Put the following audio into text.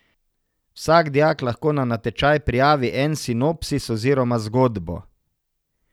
Vsak dijak lahko na natečaj prijavi en sinopsis oziroma zgodbo.